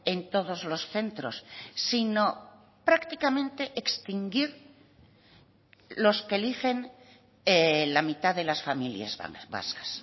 en todos los centros sino prácticamente extinguir los que eligen la mitad de las familias vascas